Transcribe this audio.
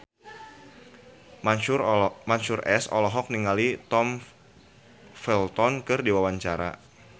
Mansyur S olohok ningali Tom Felton keur diwawancara